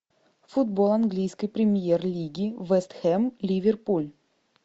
футбол английской премьер лиги вест хэм ливерпуль